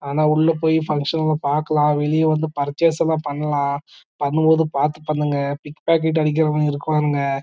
ஆனா உள்ள போய் புன்ச்டின் எல்லா பாக்கலாம்வெளிய வந்து புர்ச்சஸ் எல்ல பண்ணலாம் பண்ணும்போது பாத்து பண்ணுங்க பிக் பாக்கெட் அடிக்கிறவக இருப்பாக